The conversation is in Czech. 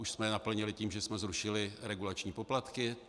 Už jsme je naplnili tím, že jsme zrušili regulační poplatky.